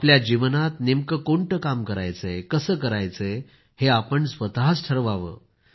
आपल्या जीवनात नेमकं कोणतं काम करायचंय कसं करायचंय हे स्वतःच ठरवावं